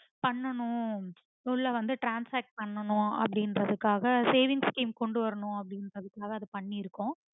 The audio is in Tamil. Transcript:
பண்ணனும் உள்ள வந்து transact பண்ணனும் அப்புடிங்கறதுக்காக saving scheme கொண்டுவரணும் அப்புடிங்கறதுக்காக அது பண்ணிருக்கோம்.